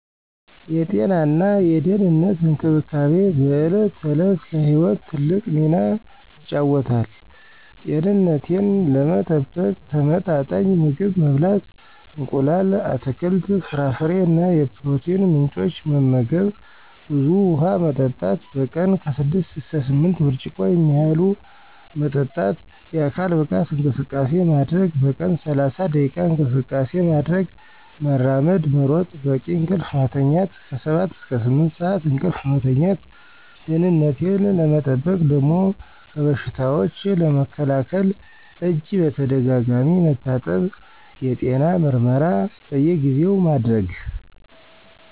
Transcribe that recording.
የጤናና የደህንነት እንክብካቤ በዕለት ተዕለት ለሕይወት ትልቅ ሚና ይጫወታል። ጤንነቴን ለመጠበቅ ተመጣጣኝ ምግብ መብላት: እንቁላል፣ አትክልት፣ ፍራፍሬ እና የፕሮቲን ምንጮች መመገብ፣ ብዙ ውሃ መጠጣት: በቀን 6–8 ብርጭቆ የሚያህሉ መጠጣት፣ የአካል ብቃት እንቅስቃሴ ማድረግ: በቀን 30 ደቂቃ እንቅስቃሴ ማድረግ (መራመድ፣ መሮጥ) ፣ በቂ እንቅልፍ መተኛት 7–8 ሰዓት እንቅልፍ መተኛት። ደህነቴን ለመጠበቅ ደሞ ከበሽታዎች ለመከላከል እጅ በተደጋጋሚ መታጠብ፣ የጤና ምርመራ በየጊዜው ማድረግ።